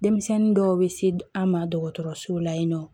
Denmisɛnnin dɔw bɛ se an ma dɔgɔtɔrɔsow la yen nɔ